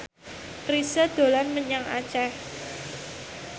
Chrisye dolan menyang Aceh